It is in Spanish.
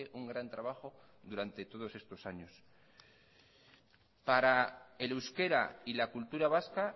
un gran trabajo durante todos estos años para el euskera y la cultura vasca